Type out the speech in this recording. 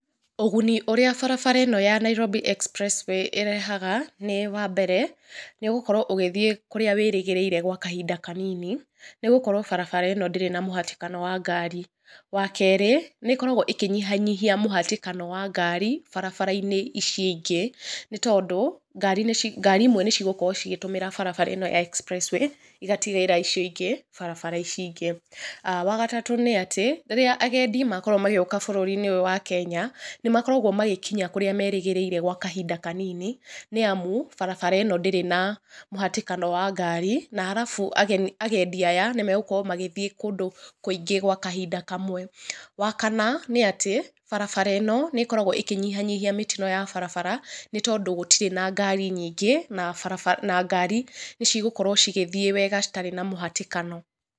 Ũguni ũrĩa barabara ĩno ya Nairobi Expressway ĩrehaga nĩ, wambere nĩ ũgũkorwo ũgĩthiĩ kũrĩa wĩrĩgĩrĩire gwa kahinda kanini, nĩgũkorwo barabara ĩno ndĩrĩ na mũhatĩkano wa ngari. Wakerĩ nĩĩkoragwo ĩkĩnyihanyihia mũhatĩkano wa ngari barabara ici ingĩ nĩ tondũ ngari ngari imwe nĩcigũkorwo cigĩtũmĩra barabara ĩyo ya Expressway igatigĩra icio ingĩ barabara ici ingĩ. Wagatatũ nĩ atĩ rĩrĩa agendi makorwo magĩũka bũrũri-inĩ ũyũ wa Kenya nĩmakoragwo magĩkinya kũrĩa merĩgĩrĩire gwa kahinda kanini nĩamu barabara ĩno ndĩrĩ na mũhatĩkano wa ngari. Na harabu ageni, agendi aya nĩmagũkorwo magĩthiĩ kũndũ kũingĩ gwa kahinda kamwe. Wakana nĩ atĩ barabara ĩno nĩkoragwo ĩkĩnyihanyihia mĩtino ya barabara nĩ tondũ gũtirĩ na ngari nyingĩ na barabara na ngari nĩcigũkorwo cigĩthiĩ wega citarĩ na mũhatĩkano.